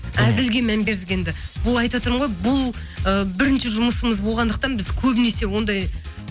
әзілге мән бердік енді бұл айтып отырмын ғой бұл ы бірінші жұмысымыз болғандықтан біз көбінесе ондай